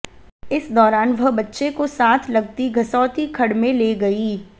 इस दौरान वह बच्चे को साथ लगती गसोती खड्ड में ले गई